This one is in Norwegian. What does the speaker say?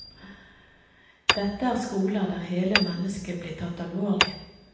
Dette er skoler der hele mennesket blir tatt alvorlig.